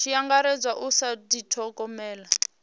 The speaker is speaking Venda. tshi angaredzwa u sa dithogomela